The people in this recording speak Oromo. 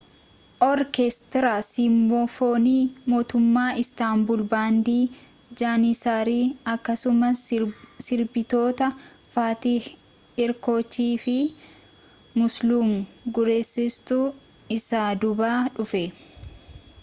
oorkeestiraa siimfoonii mootummaa istaanbul baandii jaaniisarii akkasumas sirbitoota faatih erkoochii fi muslum gursestu isa duuba dhufe